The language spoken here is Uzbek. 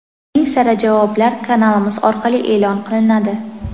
Eng sara javoblar kanalimiz orqali e’lon qilinadi.